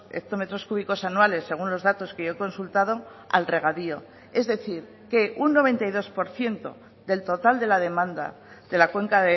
hectómetros cúbicos anuales según los datos que yo he consultado al regadío es decir que un noventa y dos por ciento del total de la demanda de la cuenca